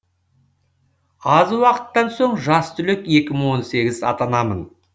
аз уақыттан соң жас түлек екі мың он сегіз атанамын